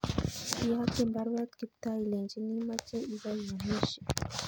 Iyokyin baruet Kiptoo ilenchini imoche ibo iyomisye